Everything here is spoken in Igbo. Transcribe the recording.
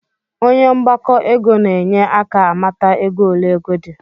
Onye mgbakọ ego na-enye aka amata ego ole ego di